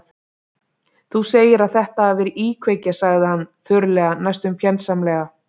Þú segir að þetta hafi verið íkveikja- sagði hann þurrlega, næstum fjandsamlega.